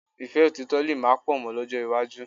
Ìfẹ́ òtítọ̀ lè má pọ̀ mọ́ lọ́jọ́ iwájú